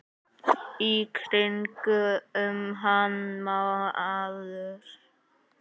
Í kringum hann maður.